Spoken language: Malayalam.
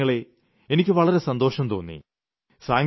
എന്റെ പ്രിയപ്പെട്ട ജനങ്ങളേ എനിയ്ക്ക് വളരെ സന്തോഷം തോന്നി